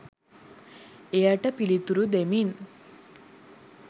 එයට පිළිතුරු දෙමින්